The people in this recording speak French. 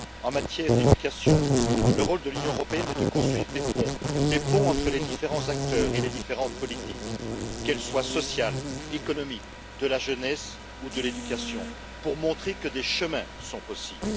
En matière d'éducation, le rôle de l'Union européenne est de construire des ponts entre les différents acteurs et les différentes politiques, qu'elles soient sociales, économiques, de la jeunesse ou de l'éducation, pour montrer que des chemins sont possibles.